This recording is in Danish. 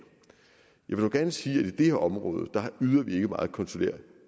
jeg vil dog gerne sige at i det her område yder vi ikke meget konsulær